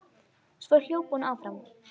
Svo hljóp hún áfram.